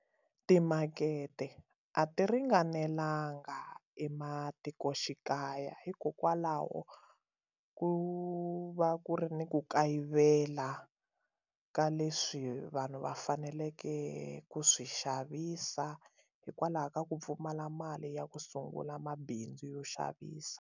Timakete a ti ringanelanga ematikoxikaya hikokwalaho ku va ku ri ni ku kayivela la ka leswi vanhu va faneleke ku swi xavisa hikwalaho ka ku pfumala mali ya ku sungula mabindzu yo xavisa.